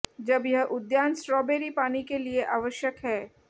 जब यह उद्यान स्ट्रॉबेरी पानी के लिए आवश्यक है